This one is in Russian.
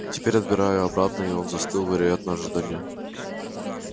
теперь отбираю обратно и он застыл вероятно в ожидании